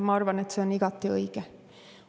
Ma arvan, et see on igati õige.